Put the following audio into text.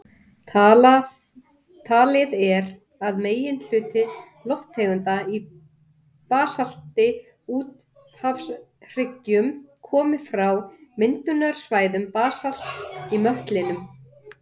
Talið er að meginhluti lofttegunda í basalti úthafshryggja komi frá myndunarsvæðum basalts í möttlinum.